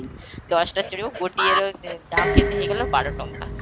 ଦଶଟା ଚାଲିବ ଗୋଟିଏର ଦାମ କେତେ ହେଇଗଲା ବାର ଟଙ୍କା